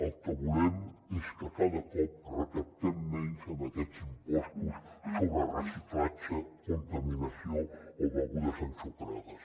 el que volem és que cada cop recaptem menys amb aquests impostos sobre reciclatge contaminació o begudes ensucrades